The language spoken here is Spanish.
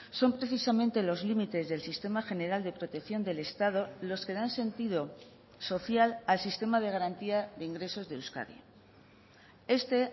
son precisamente los límites del sistema general de protección del estado los que dan sentido social al sistema de garantía de ingresos de euskadi este